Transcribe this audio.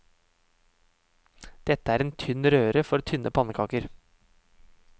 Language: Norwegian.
Dette er en tynn røre for tynne pannekaker.